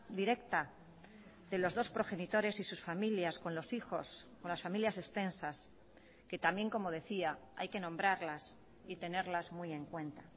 directa de los dos progenitores y sus familias con los hijos con las familias extensas que también como decía hay que nombrarlas y tenerlas muy en cuenta